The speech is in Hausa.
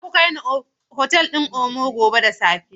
Za ku kai ni otal ɗin Oma gobe da safe.